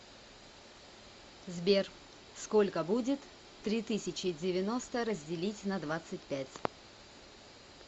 сбер сколько будет три тысячи девяносто разделить на двадцать пять